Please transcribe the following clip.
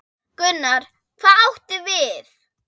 Gunnar: Hvað áttu við?